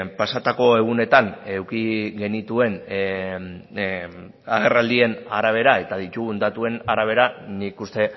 pasatako egunetan eduki genituen agerraldien arabera eta ditugun datuen arabera nik uste